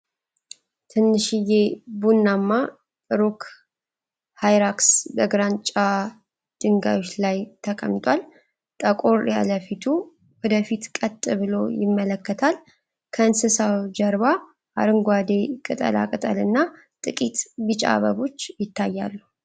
ትንሽዬ ቡናማ ሮክ ሃይራክስ በግራጫ ድንጋዮች ላይ ተቀምጧል። ጠቆር ያለ ፊቱ ወደ ፊት ቀጥ ብሎ ይመለከታል። ከእንስሳው ጀርባ አረንጓዴ ቅጠላቅጠልና ጥቂት ቢጫ አበቦች ይታያሉ።